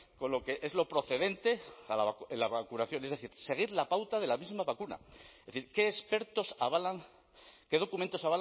con lo que es lo procedente en la vacunación es decir seguir la pauta de la misma vacuna es decir qué expertos avalan qué documentos